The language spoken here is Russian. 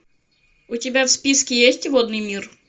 у тебя в списке есть водный мир